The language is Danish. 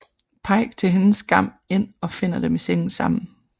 Paik til hendes skam ind og finder dem i sengen sammen